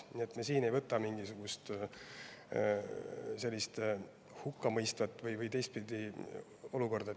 Nii et siin me ei võta mingisugust sellist hukkamõistvat.